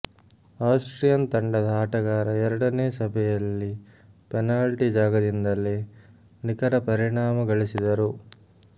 Austrian ತಂಡದ ಆಟಗಾರ ಎರಡನೇ ಸಭೆಯಲ್ಲಿ ಪೆನಾಲ್ಟಿ ಜಾಗದಿಂದಲೇ ನಿಖರ ಪರಿಣಾಮ ಗಳಿಸಿದರು